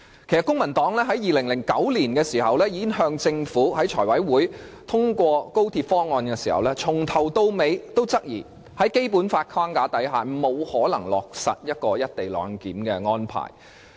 公民黨早於2009年財務委員會通過政府的高鐵方案時，由始至終也質疑在《基本法》的框架下，沒有可能落實"一地兩檢"的安排。